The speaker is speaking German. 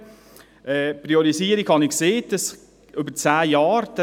Es gibt eine Priorisierung über zehn Jahre.